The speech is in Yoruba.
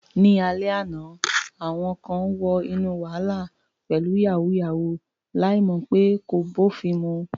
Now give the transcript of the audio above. Ní alẹ́ àná, àwọn kan wọ inú wàhálà pẹ̀lú "yàwúyáwù ," láì mọ̀ pé kò bófin mu.